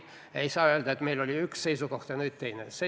Seda, et meil oli enne üks seisukoht ja nüüd on teine, öelda ei saa.